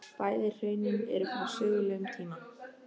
Bæði hraunin eru frá sögulegum tíma.